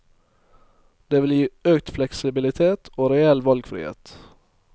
Det vil gi økt fleksibilitet og reell valgfrihet.